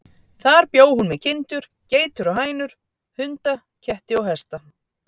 Þar bjó hún með kindur, geitur og hænur, hunda, ketti og hesta.